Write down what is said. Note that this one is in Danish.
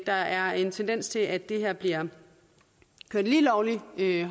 der er en tendens til at det her bliver kørt lige lovlig